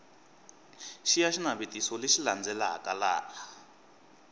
xiya xinavetiso lexi landzelaka laha